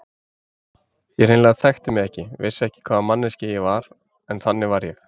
Ég hreinlega þekkti mig ekki, vissi ekki hvaða manneskja ég var, en þannig var ég.